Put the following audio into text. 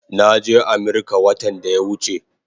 Naje Amirka watan daya wuche